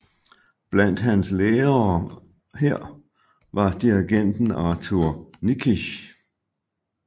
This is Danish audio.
Blandt hans lærere her var dirigenten Arthur Nikisch